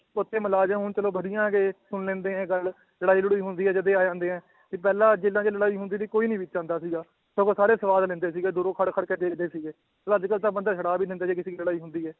ਉੱਥੇ ਮੁਲਾਜ਼ਮ ਹੁਣ ਚਲੋ ਸੁਣ ਲੈਂਦੇ ਹੈ ਗੱਲ ਲੜਾਈ ਲੜੂਈ ਹੁੰਦੀ ਹੈ ਜਦੇ ਆ ਜਾਂਦੇ ਹੈ, ਤੇ ਪਹਿਲਾਂ ਜੇਲ੍ਹਾਂ 'ਚ ਲੜਾਈ ਹੁੰਦੀ ਸੀ ਕੋਈ ਨੀ ਵਿੱਚ ਆਉਂਦਾ ਸੀਗਾ, ਸਗੋਂ ਸਾਰੇ ਸਵਾਦ ਲੈਂਦੇ ਸੀਗੇ ਦੂਰੋਂ ਖੜ ਖੜ ਕੇ ਦੇਖਦੇ ਸੀਗੇ, ਚੱਲ ਅੱਜ ਕੱਲ੍ਹ ਤਾਂ ਬੰਦਾ ਛੁਡਾ ਵੀ ਲੈਂਦਾ ਜੇ ਕਿਸੇ ਦੀ ਲੜਾਈ ਹੁੰਦੀ ਹੈ